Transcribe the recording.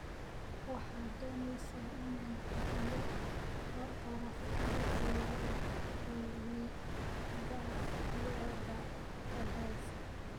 Waxaad doonaysaa inaan hubiyo taraafikada gurigayaga tagaysa